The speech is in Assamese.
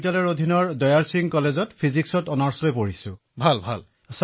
অখিলঃ মই দয়াল সিং মহাবিদ্যালয় দিল্লী বিশ্ববিদ্যালয়ৰ পৰা পদাৰ্থ বিজ্ঞানত স্নাতক কৰি আছো